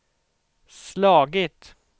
slagit